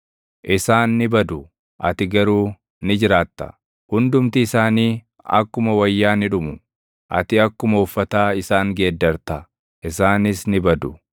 Isaan ni badu; ati garuu ni jiraatta; hundumti isaanii akkuma wayyaa ni dhumu. Ati akkuma uffataa isaan geeddarta; isaanis ni badu.